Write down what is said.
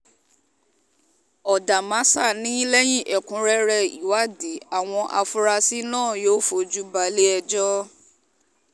ọ̀dàmásà ni lẹ́yìn ẹ̀kúnrẹ́rẹ́ ìwádìí àwọn afurasí náà yóò fojú balẹ̀-ẹjọ́